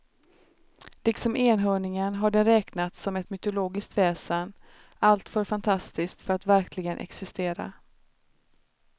Liksom enhörningen har den räknats som ett mytologiskt väsen alltför fantastisk för att verkligen existera.